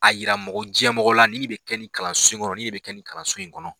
A yira mɔgɔ jɛmɔgɔ la nin bɛ kɛ nin kalanso in kɔrɔn, bɛ kɛ nin kalanso in kɔnɔ